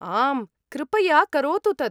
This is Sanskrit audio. आम्, कृपया करोतु तत्।